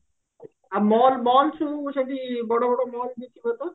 ଆଉ mall mall ସବୁ ସେଠି ବଡ ବଡ mall ବି ଥିବ ତ